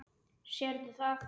Sérðu það?